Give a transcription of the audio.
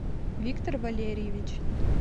виктор валерьевич